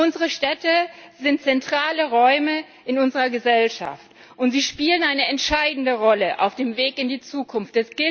Unsere Städte sind zentrale Räume in unserer Gesellschaft, und sie spielen eine entscheidende Rolle auf dem Weg in die Zukunft.